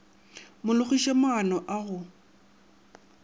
mo logiše maano a go